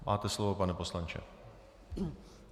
Máte slovo, pane poslanče.